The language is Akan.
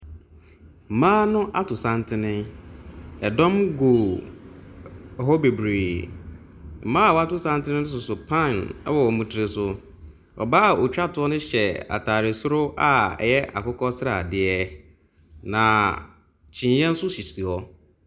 Mmaa no ato santene. ℇdɔm gu hɔ bebiree. Mmaa a wɔato santene no soso pan wɔ wɔn tiri so. Ↄbaa a ɔtwa toɔ no hyɛ ataare soro a ɛyɛ akokɔ sradeɛ. Na kyimmiiɛ nso sisi hɔ.